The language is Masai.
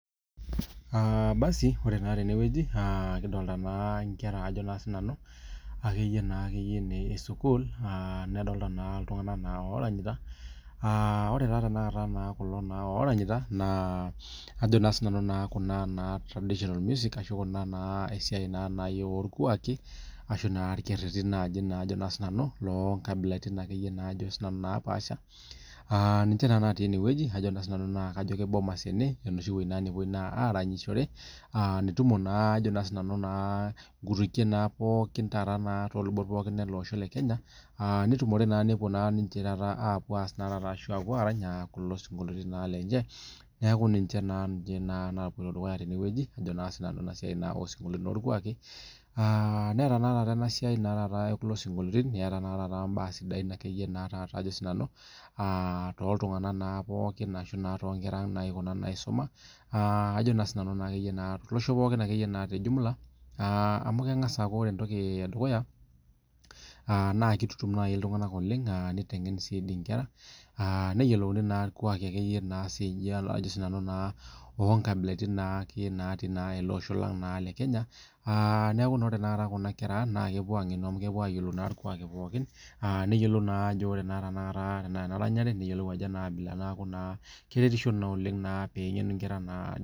Aa basi ore na tenewueji kidolta nkera esukul ore na tanakata kulo oranyita naa ajo na sinanu irkererin naa sinanu lonkabilaitin napaasha na kajo nai bomas ene enoshiwueji napuoi aranyisho ajo na sinanu nkutukie pooki eleosho lekenya netumo pooki aa ninche taata apuo arany kulo sinkoliotin lenye ajo na nanu neata mbaa sidain ajo na nanu aa toltunganak pooki ashu tonkera naisuma au lengasa aaku ore entoki edukuya na kitengen nkera neyiolouni irkuaki o kabilitian natii olosho le Kenya neaku ore kuna kera aang na kepuo angenu amu kepuo ayiolou irkuaki pooki keretisho na peyiolou nkera